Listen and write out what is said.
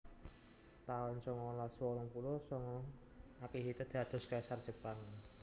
taun songolas wolung puluh sanga Akihito dados Kaisar Jepang